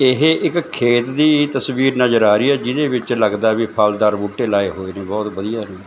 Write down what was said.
ਇਹ ਇੱਕ ਖੇਤ ਦੀ ਤਸਵੀਰ ਨਜ਼ਰ ਆ ਰਹੀ ਹੈ ਜੀਹਦੇ ਵਿੱਚ ਲਗਦਾ ਹੈ ਵਈ ਫਲਦਾਰ ਬੂਟੇ ਲਾਏ ਹੋਏ ਨੇਂ ਬਹੁਤ ਵਧੀਆ।